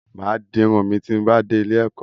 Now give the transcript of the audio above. M á di irun mi ti mo bá dé ilé-ẹ̀kọ́.